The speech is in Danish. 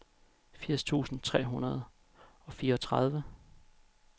firs tusind tre hundrede og fireogtredive